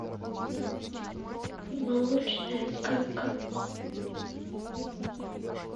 молочная сказка